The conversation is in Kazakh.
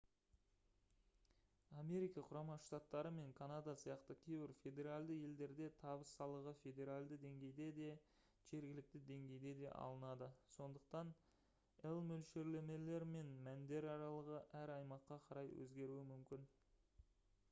америка құрама штаттары мен канада сияқты кейбір федералды елдерде табыс салығы федералды деңгейде де жергілікті деңгейде де алынады сондықтан лмөлшерлемелер мен мәндер аралығы әр аймаққа қарай өзгеруі мүмкін